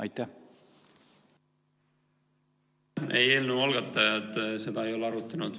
Ei, eelnõu algatajad seda ei ole arutanud.